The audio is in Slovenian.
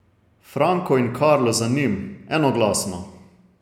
Franko in Karlo za njim, enoglasno.